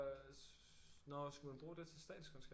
Nå skulle man bruge det til statskundskab